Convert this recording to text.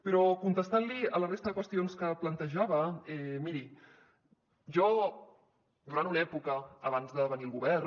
però contestant li a la resta de qüestions que plantejava miri jo durant una època abans de venir al govern